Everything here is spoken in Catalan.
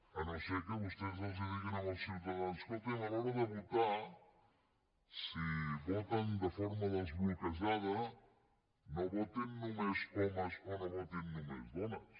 llevat que vostès els diguin als ciutadans escoltin a l’hora de votar si voten de forma desbloquejada no votin només homes o no votin només dones